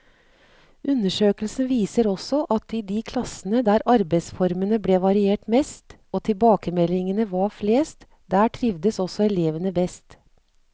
Undersøkelsen viser også at i de klassene der arbeidsformene ble variert mest og tilbakemeldingene var flest, der trivdes også elevene best.